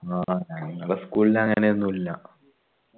ന്ന ഞങ്ങളാ school ൽ അങ്ങനെയൊന്നുല്ല